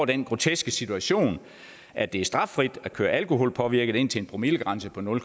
den groteske situation at det er straffrit at køre alkoholpåvirket indtil en promillegrænse på nul